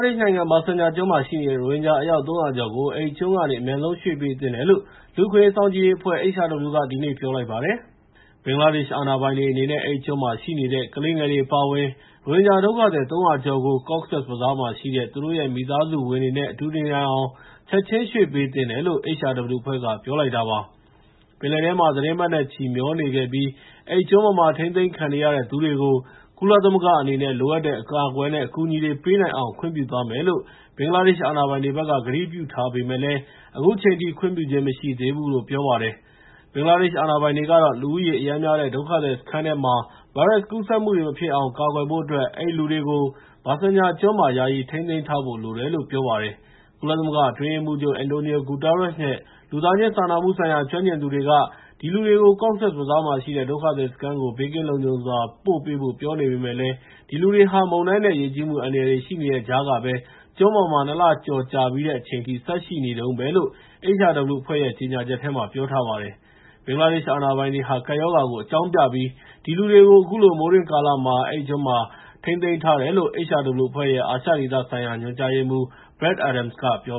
နိုင်ငံ ဘာဆန်ချာကျွန်းမှာ ရှိနေတဲ့ ရိုဟင်ဂျာ အယောက် ၃၀၀ ကျော်ကို အဲဒီကျွန်းကနေ အမြန်ဆုံးရွှေ့ပေးသင့်တယ်လို့ လူ့အခွင့်အရေးစောင့်ကြည့်ရေးအဖွဲ့ (HRW) က ဒီနေ့ ပြောလိုက်ပါတယ်။ ဘင်္ဂလားဒေ့ရှ်အာဏာပိုင်တွေအနေနဲ့ အဲဒီကျွန်းမှာ ရှိနေတဲ့ ကလေးငယ်တွေအပါအဝင် ရိုဟင်ဂျာဒုက္ခသည်တွေကို Cox’s Bazar မှာရှိတဲ့ သူတို့ရဲ့ မိသားစုဝင်တွေနဲ့ အတူနေနိုင်အောင် ချက်ချင်း ရွှေ့ပေးသင့်တယ်လို့ HRW အဖွဲ့က ပြောလိုက်တာပါ။ ပင်လယ်ထဲမှာ သီတင်းပတ်နဲ့ချီ မျောနေခဲ့ပြီး အဲဒီကျွန်းပေါ်မှာ ထိန်းသိမ်းခံနေရတဲ့သူတွေကို ကုလသမဂ္ဂအနေနဲ့ လိုအပ်တဲ့ အကာအကွယ်နဲ့ အကူအညီတွေပေးနိုင်အောင် ခွင့်ပြုသွားမယ်လို့ ဘင်္ဂလားဒေ့ရှ် အာဏာပိုင်တွေဘက်က ကတိပြုထားပေမဲ့လည်း အခုချိန်ထိ ခွင့်ပြုခြင်းမရှိသေးဘူးလို့ ပြောပါတယ်။ ဘင်္ဂလားဒေ့ရှ်အာဏာပိုင်တွေကတော့ လူဦးရေ အရမ်းများတဲ့ ဒုက္ခသည်စခန်းထဲမှာ ဗိုင်းရပ်စ်ကူးစက်မှုတွေ မဖြစ်အောင် ကာကွယ်ဖို့အတွက် အဲဒီလူတွေကို ဘာဆန်ချာကျွန်းမှာ ယာယီထိန်းသိမ်းထားဖို့ လိုတယ်လို့ ပြောပါတယ်။ ကုလသမဂ္ဂအတွင်းရေးမှူးချုပ် Antonio Guterres နဲ့ လူသားချင်းစာနာမှုဆိုင်ရာ ကျွမ်းကျင်သူတွေက ဒီလူတွေကို Cox’s Bazar မှာ ရှိတဲ့ ဒုက္ခသည်စခန်းကို ဘေးကင်းလုံခြုံစွာ ပို့ပေးဖို့ ပြောနေပေမဲ့လည်း ဒီလူတွေဟာ မုန်တိုင်းနဲ့ ရေကြီးမှု အန္တရာယ်တွေ ရှိနေတဲ့ကြားကပဲ ကျွန်းပေါ်မှာ ၂ လ ကျော်ကြာပြီးတဲ့အချိန်ထိ ဆက်ရှိနေတုန်းပဲဖြစ်တယ်လို့ HRW အဖွဲ့ရဲ့ ကြေငြာချက်မှာ ပြောထားပါတယ်။ ဘင်္ဂလားဒေ့ရှ်အာဏာပိုင်တွေဟာ ကပ်ရောဂါကို အကြောင်းပြပြီး ဒီလူတွေကို အခုလို မိုးတွင်းကာလမှာ အဲဒီကျွန်းမှာ ထိန်းသိမ်းထားတယ်လို့ HRW အဖွဲ့ရဲ့ အာရှဒေသဆိုင်ရာ ညွှန်ကြားရေးမှူး Brad Adams က ပြော